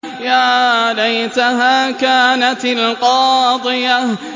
يَا لَيْتَهَا كَانَتِ الْقَاضِيَةَ